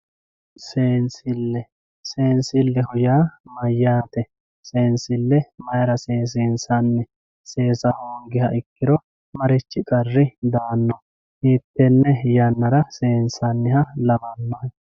Seensille, seensilleho yaa mayate, seensille mayira seesi'nsanni, seessu hoogiha ikkiro marichi qari daano, hiitene yanara seensanniha lawanohe